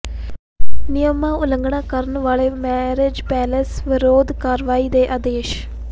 ਨਿਯਮਾਂ ਦੀ ਉਲੰਘਣਾ ਕਰਨ ਵਾਲੇ ਮੈਰਿਜ ਪੈਲੇਸਾਂ ਵਿਰੁੱਧ ਕਾਰਵਾਈ ਦੇ ਆਦੇਸ਼